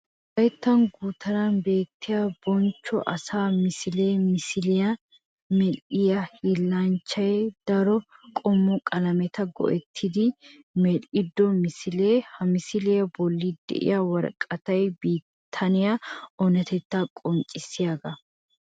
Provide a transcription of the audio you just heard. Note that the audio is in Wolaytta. Wolaytta gutaran beetiya bonchco asaa misile misiliyaa medhdhiya hiillanchchay daro qommo qalametta go'ettiddi medhdhido misile. Ha misiliya bolli de'iya woraqatay bitaniya oonatetta qonccissiyaaga.